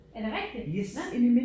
Er det rigtigt? Nåh